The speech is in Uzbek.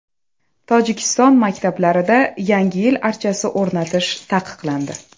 Tojikiston maktablarida Yangi yil archasi o‘rnatish taqiqlandi.